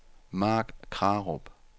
Mark Krarup